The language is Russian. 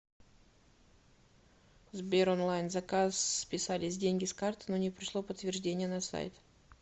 сбер онлайн заказ списались деньги с карты но не пришло подтверждение на сайт